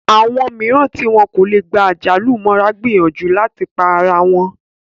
Àwọn mìíràn tí wọn kò lè gba àjálù mọ́ra gbìyànjú láti pa ara wọn